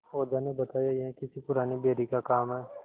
ओझा ने बताया यह किसी पुराने बैरी का काम है